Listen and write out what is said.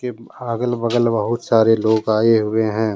ये अगल बगल बहुत सारे लोग आये हुए है।